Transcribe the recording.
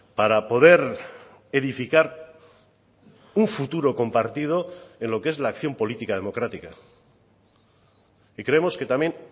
para poder edificar un futuro compartido en lo que es la acción política democrática y creemos que también